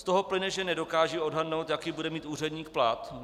Z toho plyne, že nedokážu odhadnout, jaký bude mít úředník plat.